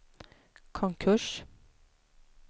konkurs